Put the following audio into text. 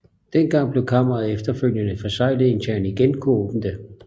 Dengang blev Kammeret efterfølgende forseglet indtil han igen kunne åbne det